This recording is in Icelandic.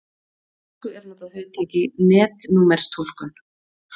Á íslensku er notað hugtakið netnúmerstúlkun.